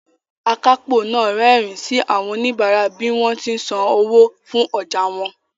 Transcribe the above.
Akápò náà rẹ́rìín sí àwọn oníbàárà bí wọ́n ti ń san owó fún ọjà wọn